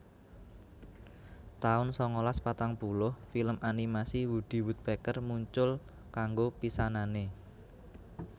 taun sangalas patang puluh Film animasi Woody Woodpecker muncul kanggo pisanané